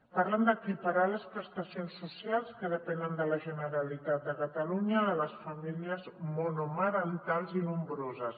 parlen d’equiparar les prestacions socials que depenen de la generalitat de cata·lunya de les famílies monomarentals i nombroses